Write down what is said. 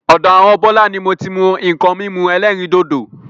Ọ̀dọ àwọn Bọlá ni moti mú nkan mímu ẹlẹ́rìndòdò.